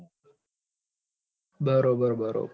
બરાબર બરાબર